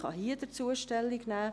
Ich kann hier dazu Stellung nehmen.